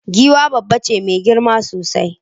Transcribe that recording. Giwa dabba ce mai girma sosai